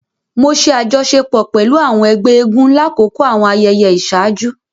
Mo ṣe àjọṣepọ̀ pẹlú àwọn ègbé eégún lakoko àwọn ayẹyẹ iṣaaju